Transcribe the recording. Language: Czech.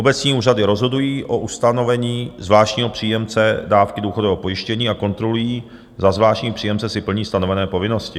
Obecní úřady rozhodují o ustanovení zvláštního příjemce dávky důchodového pojištění a kontrolují, zda zvláštní příjemce si plní stanovené povinnosti.